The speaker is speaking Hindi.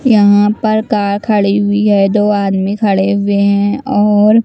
यहाँ पर कार खड़ी हुई है दो आदमी खड़े हुए हैं और--